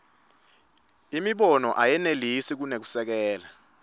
imibono ayenelisi kunekusekela